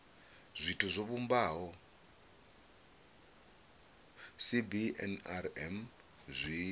zwithu zwo vhumbaho cbnrm zwi